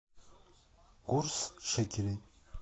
курс шекелей